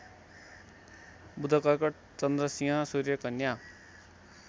बुधकर्कट चन्द्रसिंह सूर्यकन्या